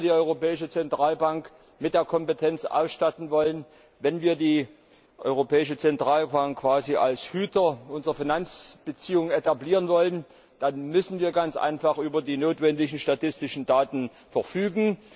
Wenn wir die Europäische Zentralbank mit der Kompetenz ausstatten wollen, wenn wir die Europäische Zentralbank quasi als Hüter unserer Finanzbeziehungen etablieren wollen, dann müssen wir ganz einfach über die notwendigen statistischen Daten verfügen.